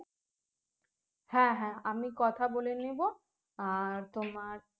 হ্যাঁ হ্যাঁ আমি কথা বলে নেবো আর তোমার